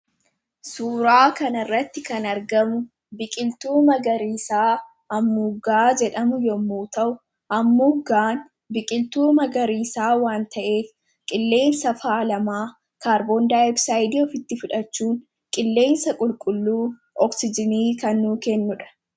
Suuraa kanarratti kan argamu biqiltuu magariisaa hammuuggaa jedhamu yommuu ta'u, hammuuggaan biqiltuu magariisaa waan ta'eef qilleensa faalamaa kaarboondaay oksaayidii ofitti fudhachuun qilleensa qulqulluu oksijinii kan nuu kennudha.